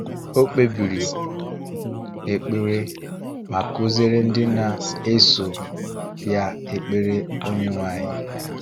Ọ kpebiri ekpere ma kụziere ndị na-eso Ya Ekpere Onyenwe anyị: